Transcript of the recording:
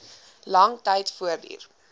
lang tyd voortduur